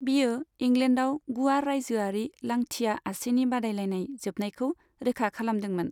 बेयो इंलेन्डआव गुवार राइजोआरि लांथिया आसिनि बादायलायनाय जोबनायखौ रोखा खालामदोंमोन।